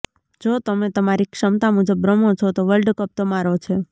જો તમે તમારી ક્ષમતા મુજબ રમો છો તો વર્લ્ડ કપ તમારો છે